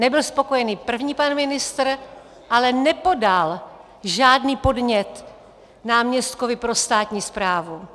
Nebyl spokojený první pan ministr, ale nepodal žádný podnět náměstkovi pro státní správu.